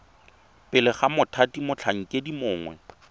pele ga mothati motlhankedi mongwe